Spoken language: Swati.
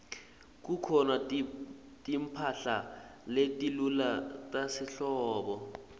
kukhona timphahla letilula tasehlobo